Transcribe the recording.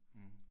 Mh